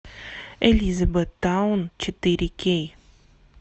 элизабеттаун четыре кей